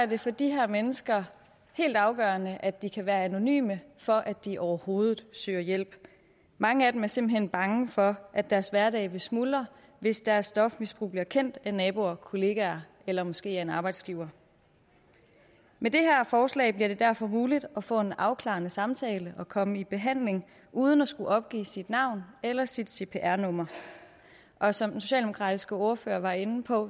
det for de her mennesker helt afgørende at de kan være anonyme for at de overhovedet søger hjælp mange af dem er simpelt hen bange for at deres hverdag vil smuldre hvis deres stofmisbrug bliver kendt af naboer kollegaer eller måske af en arbejdsgiver med det her forslag bliver det derfor muligt at få en afklarende samtale og komme i behandling uden at skulle opgive sit navn eller sit cpr nummer og som den socialdemokratiske ordfører var inde på